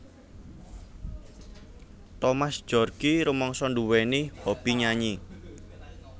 Thomas Djorgi rumangsa nduwèni hobby nyanyi